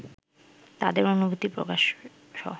তাদের অনুভূতি প্রকাশসহ